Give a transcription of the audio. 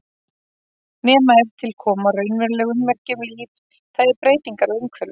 Nema ef til koma raunveruleg ummerki um líf, það er breytingar á umhverfi.